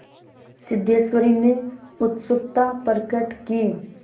सिद्धेश्वरी ने उत्सुकता प्रकट की